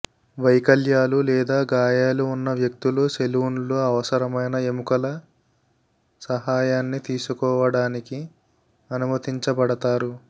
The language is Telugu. వైకల్యాలు లేదా గాయాలు ఉన్న వ్యక్తులు సెలూన్లో అవసరమైన ఎముకల సహాయాన్ని తీసుకోవడానికి అనుమతించబడతారు